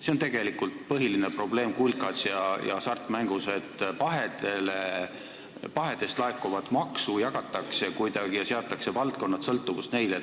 See on tegelikult põhiline probleem kulkas ja Hasartmängumaksu Nõukogus, et pahedest laekuvat maksu jagatakse kuidagi ja seatakse valdkonnad sellest sõltuvusse.